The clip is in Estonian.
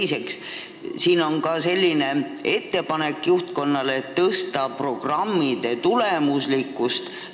Ja siin on ka ettepanek juhtkonnale suurendada programmide tulemuslikkust.